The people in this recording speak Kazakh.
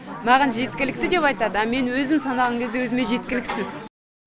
маған жеткілікті деп айтады а мен өзім санаған кезде өзіме жеткіліксіз